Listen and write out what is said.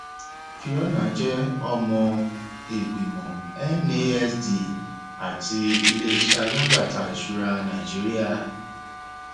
fiona jẹ ọmọ ìgbìmọ nasd àti iléiṣẹ alágbàtà ìṣura nàìjíríà